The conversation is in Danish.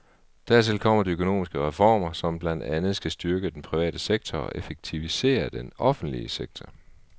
Dertil kommer de økonomiske reformer, som blandt andet skal styrke den private sektor og effektivisere den offentlige sektor.